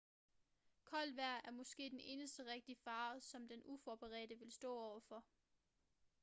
koldt vejr er måske den eneste rigtige fare som den uforberedte vil stå over for